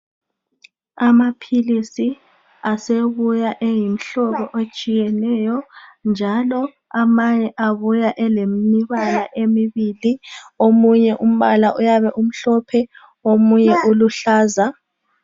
Amaphiliisi asebuya eyimihlobo etshiyeneyo, njalo amanye abuya elembala emibili, omunye umhlophe omunye uluhlaza.